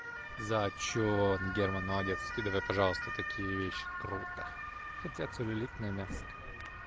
зачёт герман молодец скидывай пожалуйста такие вещи круто хотя целлюлитная мяско